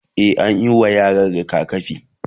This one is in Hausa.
e anyi wa yaran rigakafi